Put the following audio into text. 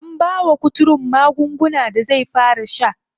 An bawa kuturun magungunan da zai fara sha.